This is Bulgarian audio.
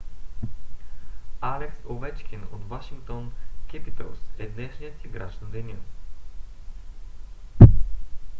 алекс овечкин от вашингтон кепитълс е днешния играч на деня